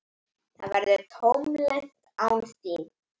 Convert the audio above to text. Það verður tómlegt án þín.